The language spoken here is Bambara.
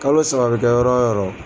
Kalo saba bɛ kɛ yɔrɔ yɔrɔ.